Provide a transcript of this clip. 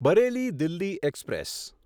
Bareilly Delhi express